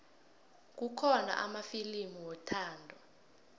kukhona amafilimu wethando